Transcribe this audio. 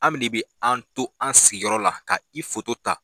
Ami de bɛ an to an sigiyɔrɔ la ka i foto ta.